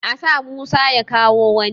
A sa Musa ya kawo wani!